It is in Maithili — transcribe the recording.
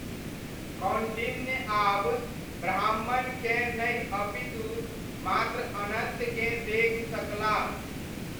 कौण्डिन्य आब ब्राह्मणकेँ नहि अपितु मात्र अनन्तकेँ देखि सकलाह।